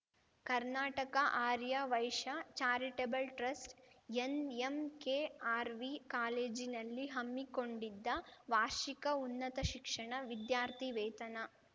Karnataka Arya Vaishya charitable trust NMKRV ಕಾಲೇಜಿನಲ್ಲಿ ಹಮ್ಮಿಕೊಂಡಿದ್ದ ವಾರ್ಷಿಕ ಉನ್ನತ ಶಿಕ್ಷಣ ವಿದ್ಯಾರ್ಥಿವೇತನ